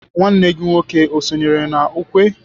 nwanne gi nwoke o sonyere na ukwe?